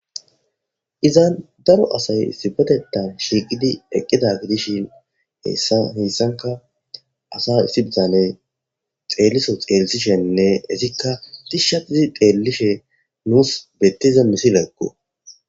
Heysan daro asay issipetetan shiiqidi eqida gidishin heysanka asa issi bitane xeeliso xeelisishene etika tishatidi xeelishe nus beetiza misileko.